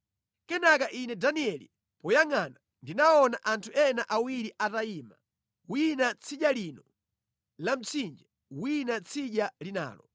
Kenaka ine Danieli poyangʼana ndinaona anthu ena awiri atayima, wina tsidya lino la mtsinje, wina tsidya linalo.